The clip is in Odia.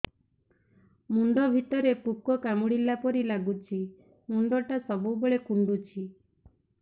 ମୁଣ୍ଡ ଭିତରେ ପୁକ କାମୁଡ଼ିଲା ପରି ଲାଗୁଛି ମୁଣ୍ଡ ଟା ସବୁବେଳେ କୁଣ୍ଡୁଚି